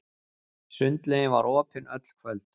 Sundlaugin var opin öll kvöld.